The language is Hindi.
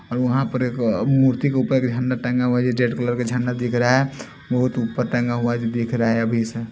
वहां पर एक मूर्ति के ऊपर झंडा टंगा हुआ है ये रेड कलर का झंडा दिख रहा है बहुत ऊपर टंगा हुआ है दिख रहा है अभी से--